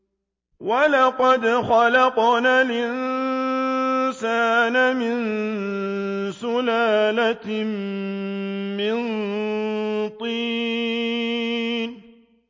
وَلَقَدْ خَلَقْنَا الْإِنسَانَ مِن سُلَالَةٍ مِّن طِينٍ